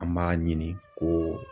An b'a ɲini ko